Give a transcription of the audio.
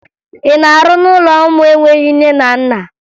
Ị na-arụ n'ụlọ ụmụ enweghi nne na nna?